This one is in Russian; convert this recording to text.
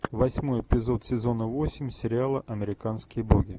восьмой эпизод сезона восемь сериала американские боги